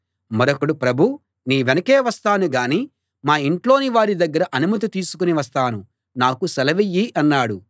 మరొకడు ప్రభూ నీ వెనకే వస్తాను గానీ మా ఇంట్లోని వారి దగ్గర అనుమతి తీసుకుని వస్తాను నాకు సెలవియ్యి అన్నాడు